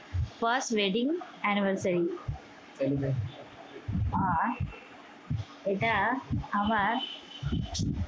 first wedding anniversary এটা আমার